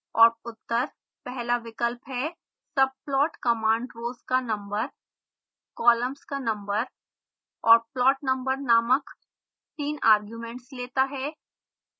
और उत्तर पहला विकल्प है